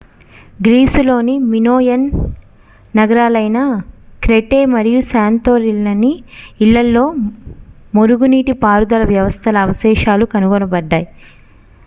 గ్రీసులోని Minoan నగరాలైన Crete మరియు Santorini ల ఇళ్ళలో మురుగునీటి పారుదల వ్యవస్థల అవశేషాలు కనుగొనబడ్డాయి